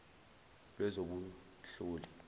lwezobunhloli